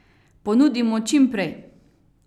Ponudimo čim prej.